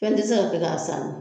Fɛn ti se ka kɛ k'a san